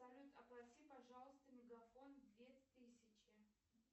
салют оплати пожалуйста мегафон две тысячи